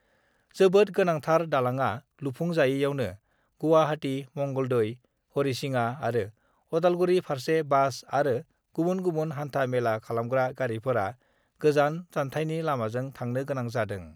जोबोद गोनांथार दालांआ लुफुंजायैयावनो गुवाहाटी, मंगलदै, हरिसिङा आरो उदालगुरि फारसे बास आरो गुबुन गुबुन हान्था-मेला खालामग्रा गारिफोरा गोजान जान्थायनि लामाजों थांनो गोनां जादों।